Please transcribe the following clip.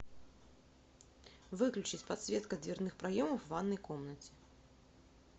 выключить подсветка дверных проемов в ванной комнате